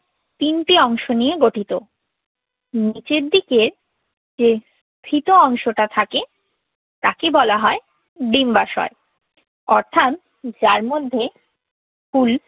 তিনটি অংশ নিয়ে গঠিত। নিচের দিকে যে ফিতা অংশটা থাকে তাকে বলা হয় ডিম্বাশয়। অর্থাৎ যার মধ্যে ফুল